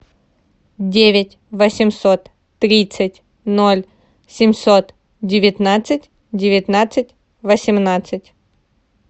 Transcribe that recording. девять восемьсот тридцать ноль семьсот девятнадцать девятнадцать восемнадцать